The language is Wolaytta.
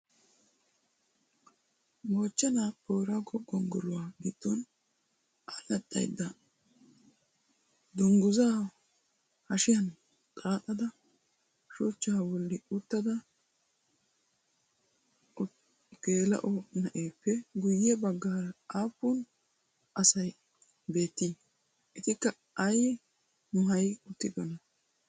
Moochchenaa booraago gonggoluwa giddon allaxxayidda dungguzzaa hashiyan xaaxada shuchchaa bolli uttida geela'o na'eeppe guyye baggaara aappun asayi beettii? Etikka ayi maayi uttidonaa?